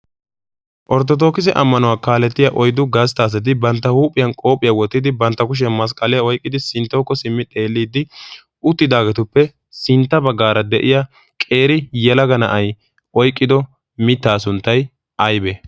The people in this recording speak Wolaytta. orttoodookisse ammanuwaa kalettiyaa oyddu gastta asati bantta huuphiyaan qoophiyaa wottidi bantta kushiyaan masqqaliyaa oyqqidi sinttawukko simmidi xeelidi sinttawukko simmi xeellidi uttidaagetuppe sintta baggaara de'iyaa qeeri yelaga na"ay oyqqido miittaa sunttay aybee?